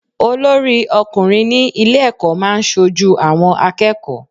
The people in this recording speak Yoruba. Olórí ọkùnrin ní ilé ẹ̀kọ́ máa ń ṣojú àwọn akẹ́kọ̀ọ́.